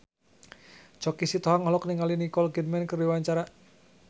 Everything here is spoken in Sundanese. Choky Sitohang olohok ningali Nicole Kidman keur diwawancara